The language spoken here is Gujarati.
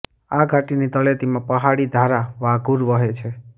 આ ઘાટીની તળેટીમાં પહાડી ધારા વાઘૂર વહે છે